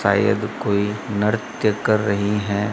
शायद कोई नृत्य कर रही हैं।